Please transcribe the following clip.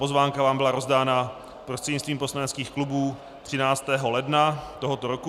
Pozvánka vám byla rozdána prostřednictvím poslaneckých klubů 13. ledna tohoto roku.